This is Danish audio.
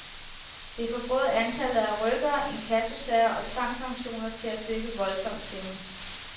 Det får både antallet af rykkere, inkassosager og tvangsauktioner til at dykke voldsomt, siger hun.